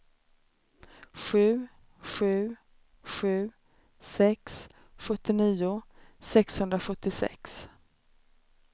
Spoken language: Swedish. sju sju sju sex sjuttionio sexhundrasjuttiosex